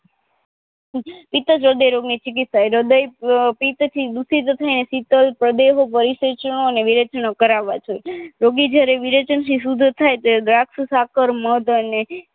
ઈતજ હ્રદય રોગની ચીકીત્સા હ્રદય પિત્તથી દુખીજતાં સિતલ પ્રદય વિરેચનો કરવા જોઈએ રોગી જ્યારે વિરેચન થી સુદ્ધ થાય ત્યારે દ્રાક્ષ સાકર મગ અને